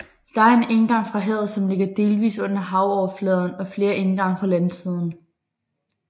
Der er en indgang fra havet som ligger delvis under havoverfladen og flere indgange fra landsiden